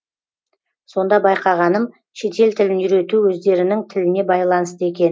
сонда байқағаным шетел тілін үйрету өздерінің тіліне байланысты екен